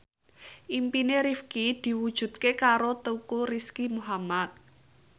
impine Rifqi diwujudke karo Teuku Rizky Muhammad